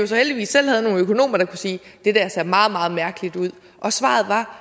så heldigvis selv havde nogle økonomer der kunne sige det der ser meget meget mærkeligt ud og svaret var